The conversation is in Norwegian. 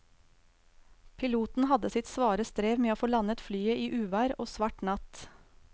Piloten hadde sitt svare strev med å få landet flyet i uvær og svart natt.